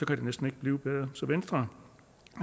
kan det næsten ikke blive bedre så venstre